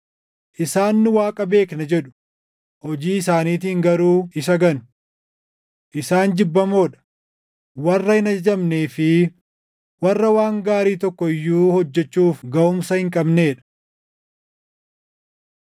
Isaan nu Waaqa beekna jedhu; hojii isaaniitiin garuu isa ganu. Isaan jibbamoo dha; warra hin ajajamnee fi warra waan gaarii tokko iyyuu hojjechuuf gaʼumsa hin qabnee dha.